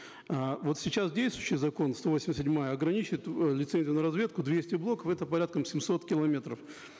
э вот сейчас действующий закон сто восемьдесят седьмая ограничивает э лицензию на разведку двести блоков это порядка семьсот километров